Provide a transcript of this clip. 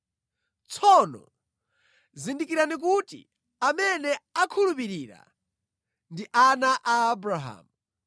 Tsono zindikirani kuti amene akhulupirira, ndi ana a Abrahamu.